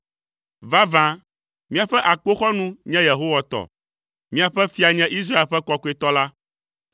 Vavã, míaƒe akpoxɔnu nye Yehowa tɔ, miaƒe fia nye Israel ƒe Kɔkɔetɔ la.